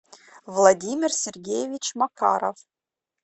владимир сергеевич макаров